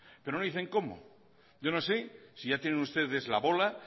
pero no dicen cómo yo no sé si ya tienen ustedes la bola